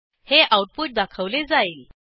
हे आऊटपुट दाखवले जाईल